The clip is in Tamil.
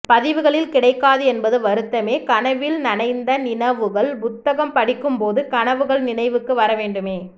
பதிவுகளில் கிடைக்காதுஎன்பது வருத்தமே கனவில் நனைந்த நினவுகள் புத்தகம் படிக்கும் போது கனவுகள் நினைவுக்கு வர வேண்டுமே